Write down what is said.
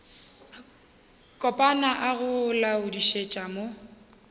kopana a go laodišetša mo